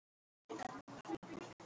Þeir feðgar fóru út að ganga.